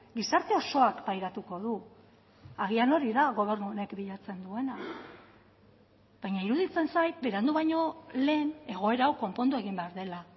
gizarte osoak pairatuko du agian hori da gobernu honek bilatzen duena baina iruditzen zait berandu baino lehen egoera hau konpondu egin behar dela